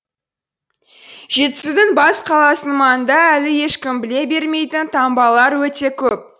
жетісудың бас қаласының маңында әлі ешкім біле бермейтін таңбалар өте көп